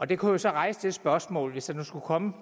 det kunne jo så rejse det spørgsmål hvis der skulle komme